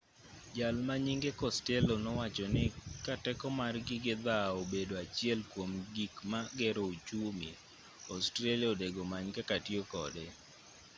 jalma nyinge costello nowachoni ka teko mar gige dhawo obedo achiel kuom gik magero ochumi australia onego many kaka tiyo kode